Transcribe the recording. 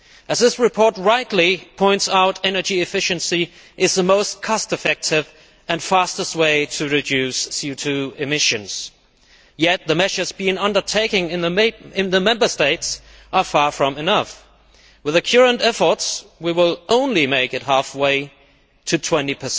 As this report rightly points out, energy efficiency is the most cost effective and fastest way to reduce CO 2 emissions. Yet the measures being undertaken in the Member States are far from enough. On the basis of our current efforts, we will only make it half way to 20 by